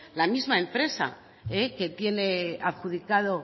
la misma empresa que tiene adjudicado